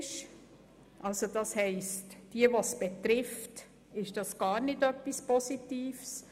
das heisst für diejenigen, die es betrifft, ist es gar nichts Positives.